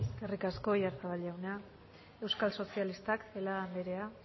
eskerrik asko oyarzabal jauna euskal sozialistak celaá anderea